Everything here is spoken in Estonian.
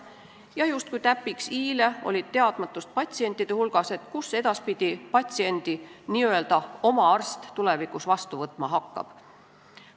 Ja justkui i-le täpiks oli teadmatus, kus edaspidi patsiendi n-ö oma arst tulevikus vastu võtma hakkab.